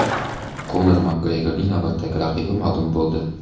Konor Makgregorning navbatdagi raqibi ma’lum bo‘ldi.